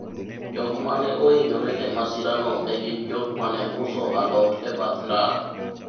jok mane ohinyore e masira no ne gin jok mane uso alot e bath ndara